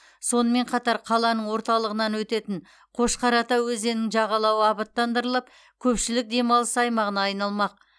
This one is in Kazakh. сонымен қатар қаланың орталығынан өтетін қошқар ата өзенінің жағалауы абаттандырылып көпшілік демалыс аймағына айналмақ